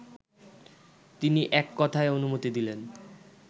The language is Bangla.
তিনি এককথায় অনুমতি দিলেন